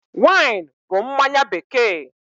Wine bụ mmanya bekee.